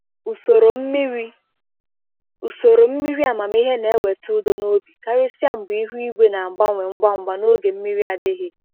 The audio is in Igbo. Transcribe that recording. Usoro mmiri Usoro mmiri amamihe na-eweta udo n’obi, karịsịa mgbe ihu igwe na-agbanwe ngwa ngwa na oge mmiri adịghị.